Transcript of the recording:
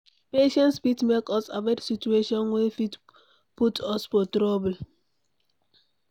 Patience fit make us avoid situation wey fit put us for trouble